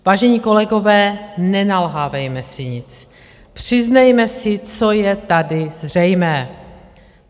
Vážení kolegové, nenalhávejme si nic, přiznejme si, co je tady zřejmé.